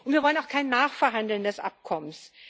Wir wollen auch kein Nachverhandeln des Abkommens.